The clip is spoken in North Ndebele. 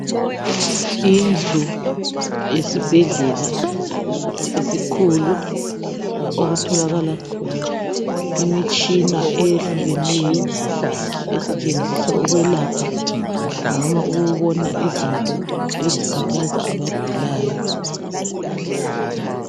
Indlu esibhedlela esikhulu okutholakala khona imitshina eyehlukeneyo esetshenziswa ukuyelapha noma ukubona izinto ezikhathaza abagulayo.